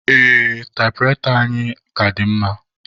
Ee, taịpụraịta anyị a ka dị mma.